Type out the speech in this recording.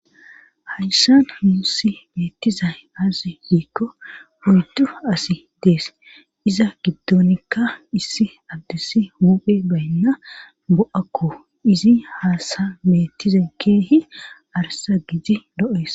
Hayssan hmussi meettizay az hiikko hoydu asi dees iza giddonikka issi abdis huphe baynna bo'akko izi haasa meettiza keehi arsa gidi lo'ees.